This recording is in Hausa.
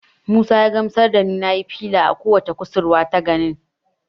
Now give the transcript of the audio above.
Musa ya gamsar da ni nayi fila a ko wacce kusurwa ta ginin.